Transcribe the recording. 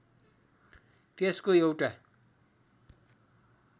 त्यसको एउटा